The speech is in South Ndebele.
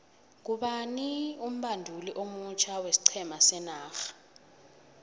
ngubani umbanduli omutjha wesiqhema senorha